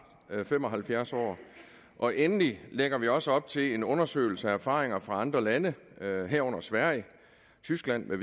fem og halvfjerds år og endelig lægger vi også op til en undersøgelse af erfaringer fra andre lande herunder sverige tyskland